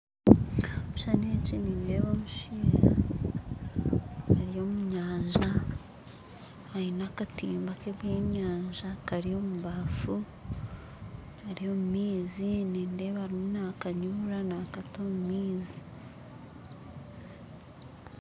Ekishuushani eki nindeeba omushaija ari omu nyanja aine akatimba k'ebyenyanja kari omu baafu ari omu maizi nindeeba arimu nakanyurura nakata omu maizi